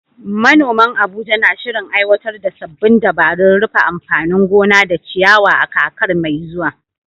Manoman Abuja na shirin aiwatar da sabbin dabarun rufe anfanin gona da ciyawa a kakar mai zuwa.